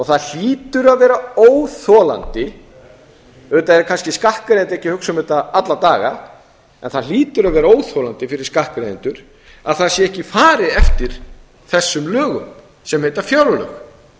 það hlýtur að vera óþolandi auðvitað er kannski skattgreiðandi ekki að hugsa um þetta alla daga en það hlýtur að vera óþolandi fyrir skattgreiðendur að það sé ekki farið eftir þessum lögum sem heita fjárlög